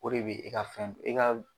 O de be e ka fɛn i ka